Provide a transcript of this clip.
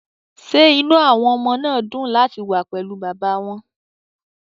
Ṣé inú àwọn ọmọ náà dùn láti wà pẹ̀lú bàbá wọn?